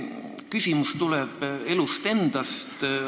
Mu küsimus tuleb elust endast.